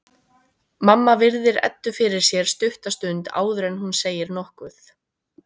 Mamma virðir Eddu fyrir sér stutta stund áður en hún segir nokkuð.